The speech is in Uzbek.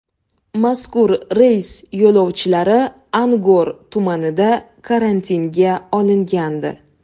Mazkur reys yo‘lovchilari Angor tumanida karantinga olingandi.